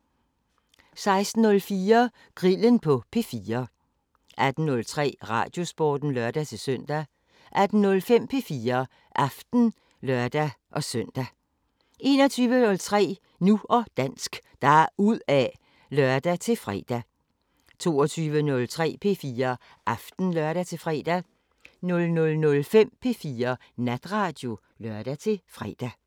16:04: Grillen på P4 18:03: Radiosporten (lør-søn) 18:05: P4 Aften (lør-søn) 21:03: Nu og dansk – deruda' (lør-fre) 22:03: P4 Aften (lør-fre) 00:05: P4 Natradio (lør-fre)